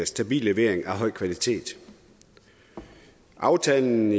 stabil levering i høj kvalitet aftalen